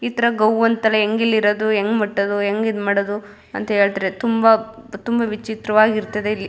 ಈ ತರ ಗೌ ಅಂತಲೇ ಹೆಂಗ್ ಇಲ್ಲಿ ಇರೋದು ಹೆಂಗ್ ಮತ್ತದು ಹೆಂಗ್ ಈದ್ ಮಾಡೋದು ಅಂತ ಹೇಳ್ತಾರೆ ತುಂಬಾ ವಿಚಿತ್ರವಾಗಿ ಇರ್ತದೆ-